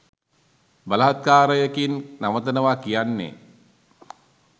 බලහත්කාරයකින් නවතනවා කියන්නේ